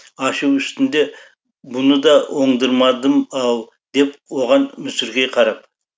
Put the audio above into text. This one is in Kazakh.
ашу үстінде бұны да оңдырмадым ау деп оған мүсіркей қарап